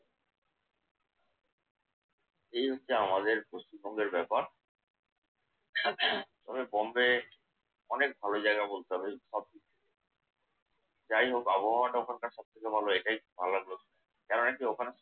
এই হচ্ছে আমাদের পশ্চিমবঙ্গের ব্যাপার। তবে বম্বে অনেক ভালো জায়গা বলতে হবে। সব কিছু যাই হোক আবহাওয়াটা ওখানকার সবথেকে ভালো এটাই ভালো লাগলো শুনতে। কেননা কি ওখানে